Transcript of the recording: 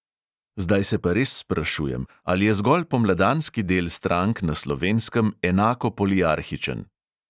Zdaj se pa res sprašujem: ali je zgolj pomladanski del strank na slovenskem enako poliarhičen?